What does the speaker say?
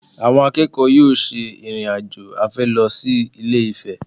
Àwọn akẹ́kọ̀ọ́ yóò ṣe ìrìn-àjò afẹ́ lọ sí Ilé-Ifẹ̀